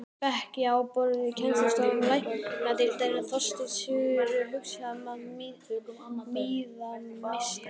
Bekki og borð í kennslustofur læknadeildar: Þorsteinn Sigurðsson, húsgagnasmíðameistari.